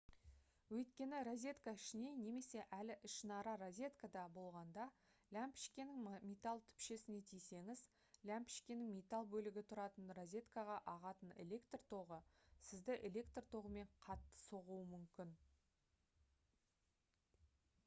өйткені розетка ішіне немесе әлі ішінара розеткада болғанда ләмпішкенің металл түпшесіне тисеңіз ләмпішкенің металл бөлігі тұратын розеткаға ағатын электр тогы сізді электр тогымен қатты соғуы мүмкін